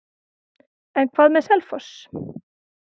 En hvað með Selfoss?